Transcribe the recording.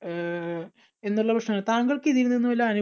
അഹ് എന്നുള്ള പ്രശ്നങ്ങൾ താങ്കൾക്ക് ഇതിൽ നിന്നും വല്ല അനുഭ